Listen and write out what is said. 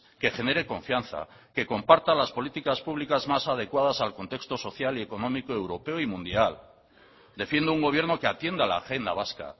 que genere confianza que comparta las políticas públicas más adecuadas al contexto social y económico europeo y mundial defiendo un gobierno que atienda la agenda vasca